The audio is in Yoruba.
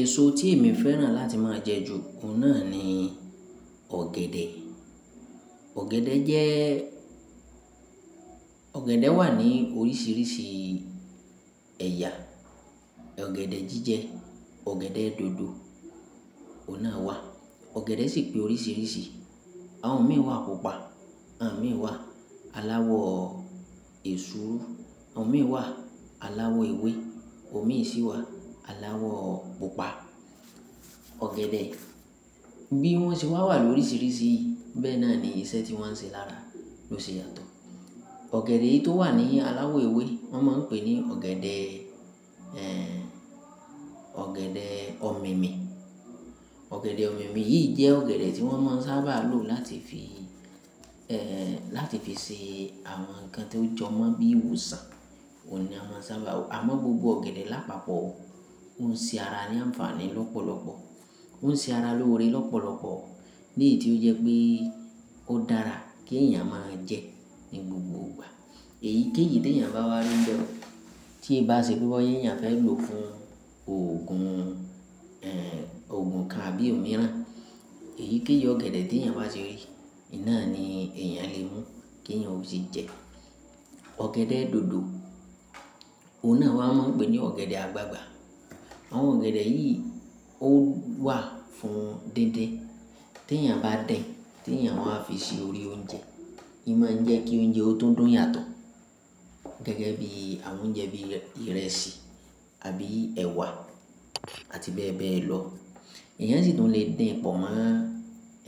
Èso tí èmi féràn láti máa jẹ jù, òun náà ni ọ̀gẹ̀dẹ̀. Ọ̀gẹ̀dẹ̀ jẹ́, ọ̀gẹ̀dẹ̀ wà ní oríṣìíríṣìí ẹ̀yà. Ọ̀gẹ̀dẹ̀ jíjẹ, ọ̀gẹ̀dẹ̀ dòdò, òun náà wà. Ọ̀gẹ̀dẹ̀ sì pé oríṣìíríṣìí. Àwọn òní wà púpà, àwọn òmíí wà aláwọ̀ èsúrú, àwọn òní wà aláwọ̀ ewé, àwọn òní sì wà aláwọ̀ pupa. Ọ̀gẹ̀dẹ̀, bí wọ́n ṣe wà wà lóríṣìíríṣìí, bẹ́ẹ̀ náà ni iṣẹ́ tí wọ́n n ṣe lára ló ṣe yàtọ̀. Ọ̀gẹ̀dẹ̀ tó wà ní aláwọ̀ ewé wọ́n máa ń pè ní ọ̀gẹ̀dẹ̀, ẹ́, ọ̀gẹ̀dẹ̀ ọ̀mìnì. Ọ̀gẹ̀dẹ̀ ọ̀mìnì yìí jẹ́ ọ̀gẹ̀dẹ̀ tí wọ́n máa ń sábà lo láti fi, ẹ́, láti fi ṣe àwọn nǹkan tó jọmọ́ bí ìwòsàn, òun ni a máa ń sábà lo. Àmọ́ gbogbo ọ̀gẹ̀dẹ̀ lápapọ̀, ó ń ṣe ara ní àǹfààní lọ́pọ̀lọpọ̀. Ó ń ṣe ara lóore lọ́pọ̀lọpọ̀. Léyìí tí ó jẹ́ pé ó dára kí èèyàn máa jẹ ní gbogbo ìgbà. Èyíkéyìí tí èèyàn bá wà rí ńbè, tí e bá ṣe pé ó yé èèyàn fẹ́ lò fún òògùn, ẹ́, òògùn kan àbí òmíràn, èyíkéyìí ọ̀gẹ̀dẹ̀ tí èèyàn bá ṣe rí, iná ni èèyàn lè mú kí èèyàn ó sì jẹ. Ọ̀gẹ̀dẹ̀ dòdò, òun náà wà máa ń pè ní ọ̀gẹ̀dẹ̀ àgbagbà. Àwọn ọ̀gẹ̀dẹ̀ yìí ó wà fún díndín. Tí èèyàn bá dín, tí èèyàn wà fi ṣe orí oúnjẹ, imá ń jẹ́ kí oúnjẹ ó tó dùn yàtọ̀. Gẹ́gẹ́ bí àwọn oúnjẹ bí ìrẹsì àbí ẹ̀wà àti bẹ́ẹ̀ bẹ́ẹ̀ lọ. Èèyàn sì tún le dín pọ̀ mọ́